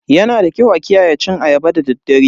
Yanada kyau a kiyaye cin ayaba da daddare.